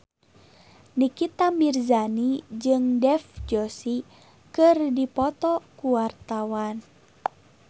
Nikita Mirzani jeung Dev Joshi keur dipoto ku wartawan